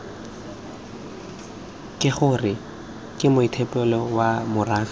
kgr ke moetapele wa morafe